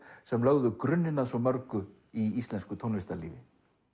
sem lögðu grunninn að svo mörgu í íslensku tónlistarlífi